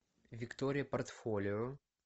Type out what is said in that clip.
виктория портфолио